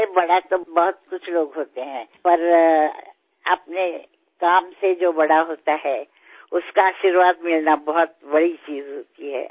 বয়সত ডাঙৰ হব পাৰো কিছুমান লোক থাকে কিন্তু নিজৰ কামৰ জৰিয়তে যি ডাঙৰ মানুহ হয় তেওঁৰ আশীৰ্বাদ লাভ কৰাটো বহু ডাঙৰ কথা